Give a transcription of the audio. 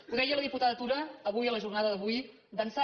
ho deia la diputada tura avui a la jornada d’avui d’ençà